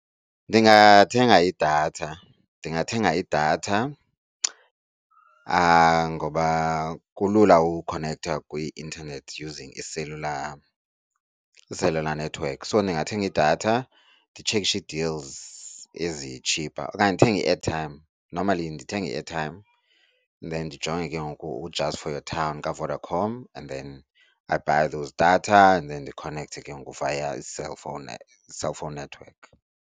Ndingathenga idatha, ndingathenga idatha ngoba kulula ukukhonektha kwi-internet using i-cellular, i-celullar network. So ndingathenga idatha, nditshekishe ii-deals ezi-cheaper okanye ndithenge i-airtime. Normally ndithenga i-airtime and then ndijonge ke ngoku u-just for your town kaVodacom and then I buy those data and then ndikhonekthe ke ngoku via cellphone, cellphone network.